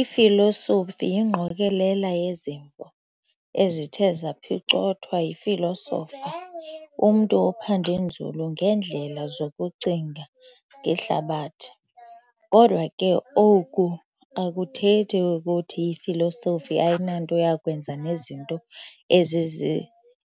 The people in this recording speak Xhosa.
Ifilosofi yingqokolela yezimvo, ezithe zaphicothwa yifilosofa, umntu ophande nzulu ngeendlela zokucinga ngehlabathi. Kodwa ke oku akuthethi kuthi ifilosofi ayinanto yakwenza nezinto